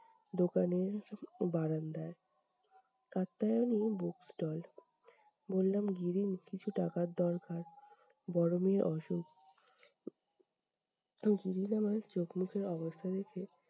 দোকানের বারান্দায়। কাপ্তায়নি bookstall বললাম গিরীন কিছু টাকার দরকার, বড়ো মেয়ের অসুখ। তো গিরীন আমার চোখ মুখের অবস্থা দেখে-